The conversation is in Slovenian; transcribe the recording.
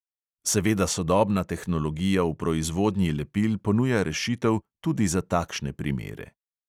Seveda sodobna tehnologija v proizvodnji lepil ponuja rešitev tudi za takšne primere.